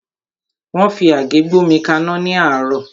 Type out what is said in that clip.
Mo fi àgé gbómi kaná ní àárọ́.